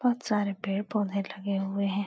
बहुत सारे पेेड़ पौधे लगे हुए हैं।